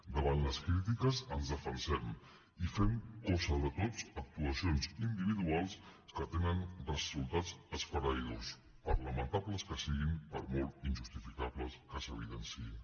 davant les crítiques ens defensem i fem cosa de tots actuacions individuals que tenen resultats esfereïdors per lamentables que siguin per molt injustificables que s’evidenciïn